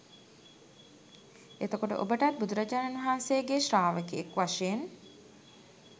එතකොට ඔබටත් බුදුරජාණන් වහන්සේගේ ශ්‍රාවකයෙක් වශයෙන්